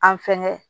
An fɛnkɛ